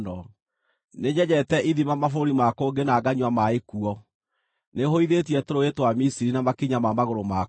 Nĩnyenjete ithima mabũrũri ma kũngĩ na nganyua maaĩ kuo. Nĩhũithĩtie tũrũũĩ twa Misiri na makinya ma magũrũ makwa.’